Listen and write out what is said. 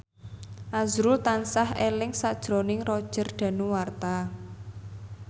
azrul tansah eling sakjroning Roger Danuarta